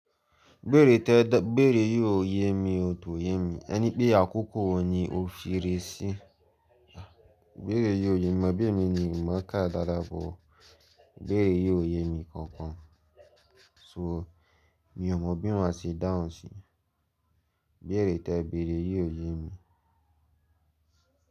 Ibẹ́rè tẹ, bẹ̀rẹ̀ yìí ò ye mi, ò tò ye mi. Ẹni pé àkókò wò ní òfin rere sí. Bẹ̀rẹ̀ yìí ò ye mi, abí emi ni ìmọ̀ kà dáadáa bó. Bẹ̀rẹ̀ yìí ò ye mi kankan. So mi ò mọ bí wọ́n a ṣe dáhùn sí. Bẹ́rè tẹ, bẹ̀rẹ̀ yìí ò ye mi.